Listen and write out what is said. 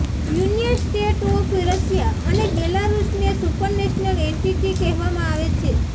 union State of Russia અને બેલારુસને supranational entity કહેવામાં આવે છે